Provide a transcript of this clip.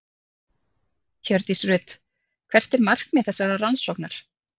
Hjördís Rut: Hvert er markmið þessarar rannsóknar?